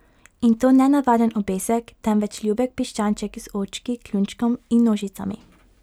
In to ne navaden obesek, temveč ljubek piščanček, z očki, kljunčkom in nožicami.